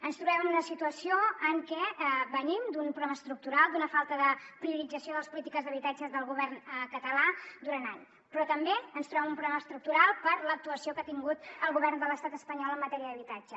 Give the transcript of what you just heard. ens trobem en una situació en què venim d’un problema estructural d’una falta de priorització de les polítiques d’habitatge del govern català durant anys però també ens trobem en un problema estructural per l’actuació que ha tingut el govern de l’estat espanyol en matèria d’habitatge